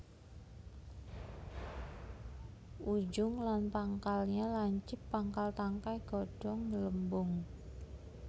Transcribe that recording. Ujung lan pangkalnya lancip pangkal tangkai godhong nggelembung